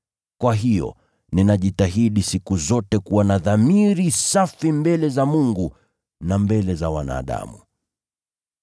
Kwa hiyo ninajitahidi siku zote kuwa na dhamiri safi mbele za Mungu na mbele za wanadamu.